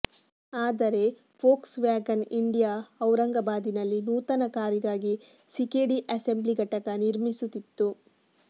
ಆದರೆ Volkswagen India ಔರಂಗಬಾದಿನಲ್ಲಿ ನೂತನ ಕಾರಿಗಾಗಿ ಸಿಕೆಡಿ ಅಸೆಂಬ್ಲಿ ಘಟಕ ನಿರ್ಮಿಸುತ್ತಿತ್ತು